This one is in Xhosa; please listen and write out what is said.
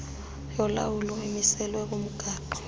yolawulo emiselwe kumgaqo